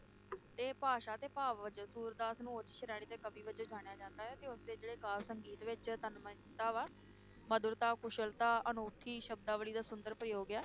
ਤੇ ਭਾਸ਼ਾ ਤੇ ਭਾਵ ਵਚਨ ਸੂਰਦਾਸ ਨੂੰ ਉੱਚ ਸ਼੍ਰੈਣੀ ਕਵੀ ਵਜੋਂ ਜਾਣਿਆ ਜਾਂਦਾ ਹੈ ਤੇ ਉਸ ਦੇ ਜਿਹੜੇ ਕਾਵਿ ਸੰਗੀਤ ਵਿਚ ਤਨਮ ਯਤਾ ਵਾ, ਮਧੁਰਤਾ, ਕੁਸ਼ਲਤਾ ਅਨੂਠੀ ਸ਼ਬਦਾਵਲੀ ਦਾ ਸੁੰਦਰ ਪ੍ਰਯੋਗ ਹੈ